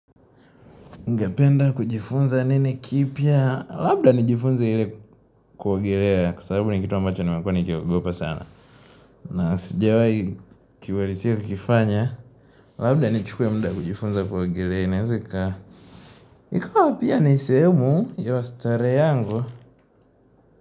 Ningependa kujifunza nini kipya labda nijifunza ile kuogelea kwa sababu ni kitu ambacho nimekuwa nikiogopa sana na sijawai kiwalisiru kifanya labda nichukwe muda kujifunza kuogelea inaeza ika ikawa pia ni sehemu ya starehe yangu.